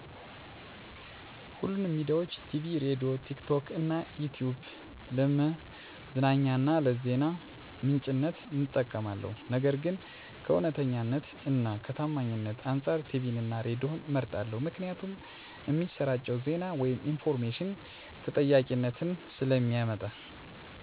ሁሉንም ሚዲያዊች -ቲቪ፤ ሬድዬ፤ ቲክቶክ እና ይትዩብ ለመዝናኛ እና ለዜና ምንጭነት እጠቀማለሁ። ነገር ግን ከእውነተኛነት እና ከታማኝነት አንፃር ቲቪን እና ሬድዬን እመርጣለሁ ምክንያቱም እሚሰራጨው ዜና ወይም ኢንፎርሜሽን ተጠያቂነትን ስለእሚያስከትል። ፈጣን፤ አዲስ መረጃ ከማድረስ፤ ከአቀራረብ አኮያ ቲክቶክ፤ ዩትዩብ እመርጣለሁ። ነገር ግን ትክትክ እና ይትዩብ ብዙውን ጊዜ ታማኝ አይደሉም። ምክንያቱም ሙሉ በሙሉ የተጠያቂነት መስፈርት ስለሌላቸው።